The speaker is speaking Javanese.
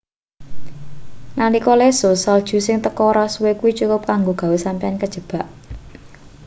nalika lesus salju sing teko ora suwe kuwi cukup kanggo gawe sampeyan kajebak